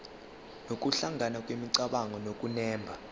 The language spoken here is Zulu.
nokuhlangana kwemicabango nokunemba